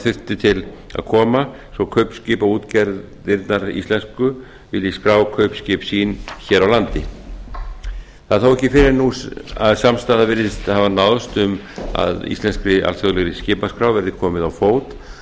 þurfti til að koma svo kaupskipaútgerðirnar íslensku vilji skrá kaupskip sín hér á landi það er þó ekki fyrr en nú að samstaða virðist hafa náðst um að íslenskri alþjóðlegri skipaskrá verði komið á fót